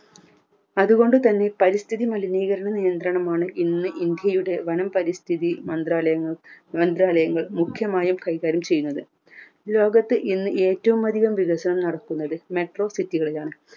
അതുകൊണ്ടുതന്നെ പരിസ്ഥിതി മലിനീകരണ നിയന്ത്രണമാണ് ഇന്ന് ഇന്ത്യയുടെ വനം പരിസ്ഥിതി മന്ത്രാലയങ്ങ മന്ത്രാലയങ്ങൾ മുഘ്യമായി കൈകാര്യം ചെയ്യുന്നത് ലോകത്ത് ഇന്ന് ഏറ്റവും അതികം വികസനം നടക്കുന്നത് metro city കളിലാണ്